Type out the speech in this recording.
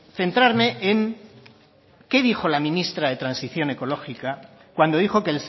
centrarme en qué dijo la ministra de transición ecológica cuando dijo que